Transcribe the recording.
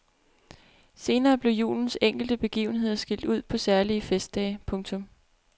Senere blev julens enkelte begivenheder skilt ud på særlige festdage. punktum